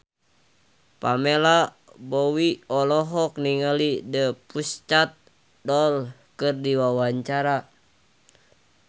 Pamela Bowie olohok ningali The Pussycat Dolls keur diwawancara